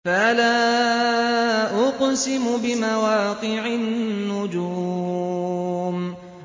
۞ فَلَا أُقْسِمُ بِمَوَاقِعِ النُّجُومِ